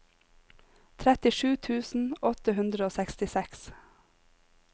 trettisju tusen åtte hundre og sekstiseks